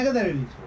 Nə qədər eləyir?